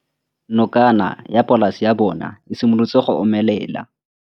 Nokana ya polase ya bona, e simolola go omelela.